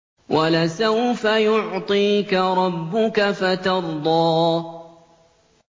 وَلَسَوْفَ يُعْطِيكَ رَبُّكَ فَتَرْضَىٰ